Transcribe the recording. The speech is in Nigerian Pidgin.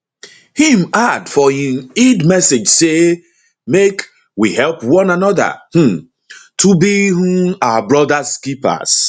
im add for im eid message say make we help one anoda um to be um our brothers keepers